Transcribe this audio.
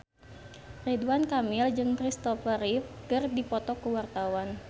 Ridwan Kamil jeung Christopher Reeve keur dipoto ku wartawan